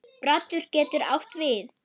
Broddur getur átt við